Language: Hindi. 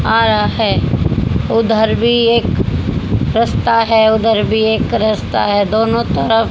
आ रहा है उधर भी एक रस्ता है उधर भी एक रस्ता है दोनों तरफ--